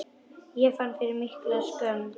Ég fann fyrir mikilli skömm.